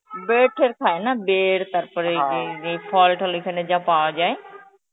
Hindi ঠের খায় না, Hindi তারপরে এই ইয়ে ফল টল এখানে যা পাওয়া যায়.